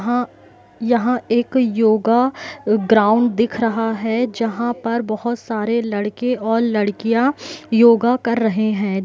हाँ यहां एक योगा अ ग्राउंड दिख रहा हैं जहां पर बहुत सारे लड़के और लड़कियां योगा कर रहे है।